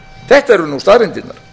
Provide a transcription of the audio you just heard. þetta eru nú staðreyndirnar